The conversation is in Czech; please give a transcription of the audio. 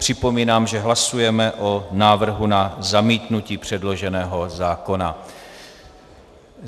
Připomínám, že hlasujeme o návrhu na zamítnutí předloženého zákona.